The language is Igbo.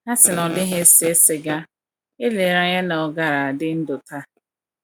A sị na ọ dịghị ese siga, elere anya na ọ gaara adị ndụ taa.